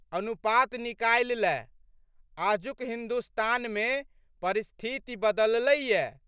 अनुपात निकालि लएह। आजुक हिन्दुस्तानमे परिस्थिति बदललैए।